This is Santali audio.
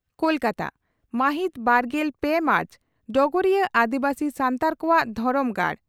ᱠᱚᱞᱠᱟᱛᱟ ᱢᱟᱹᱦᱤᱛ ᱵᱟᱨᱜᱮᱞ ᱯᱮ ᱢᱟᱨᱪ (ᱰᱚᱜᱚᱨᱤᱭᱟᱹ ᱟᱹᱫᱤᱵᱟᱹᱥᱤ ᱥᱟᱱᱛᱟᱲ ᱠᱚᱣᱟᱜ ᱫᱦᱚᱨᱚᱢ ᱜᱟᱲ